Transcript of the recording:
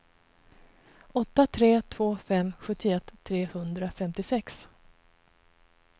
åtta tre två fem sjuttioett trehundrafemtiosex